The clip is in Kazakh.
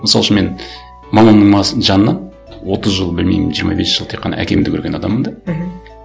мысал үшін мен мамамның жанынан отыз жыл білмеймін жиырма бес жыл тек қана әкемді көрген адаммын да мхм